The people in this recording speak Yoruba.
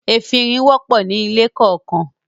“efinrin” wọ̀pọ̀ ní ilé kọọkan.